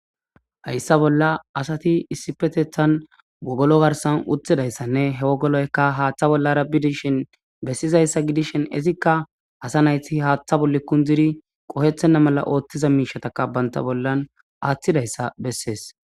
Hayssa bolla asati issipetethan wogolo garsan uttidayssanne he wogoloyka haaththa bollarabbidishin bessizayssa gidishin izikka asa nayti haaththa bolle kundiri qohethenna mala ooththiza miishataka banta bollan aaththidayssa bessees.